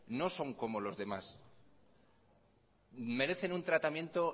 no son como les demás merecen un tratamiento